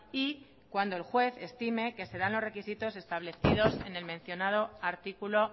y cuando el juez estime que se dan los requisitos establecidos en el mencionado artículo